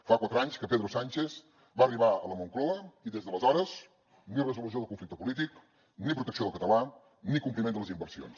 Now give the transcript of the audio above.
fa quatre anys que pedro sánchez va arribar a la moncloa i des d’aleshores ni resolució del conflicte polític ni protecció del català ni compliment de les inversions